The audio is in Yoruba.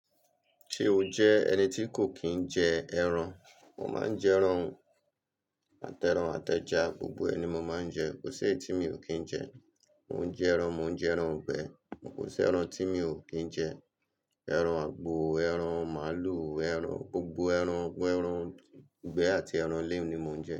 Ṣé o jẹ ẹni ti kò kí i n jẹ ẹran, mo máa ń jẹ ẹran o, àtẹran, àtẹja, gbogbo ẹ̀ ni mo máa ń jẹ. Kò sí èyí tí mi ò kín jẹ. Mo ń jẹ ẹran, mo ń jẹ ẹran ìgbẹ́. Kò sí ẹran tí mi ò kín jẹ. Ẹran àgbò, ẹran màálù, ẹran, gbogbo ẹran, ẹran ìgbẹ́ àti ẹran le ni mo ń jẹ.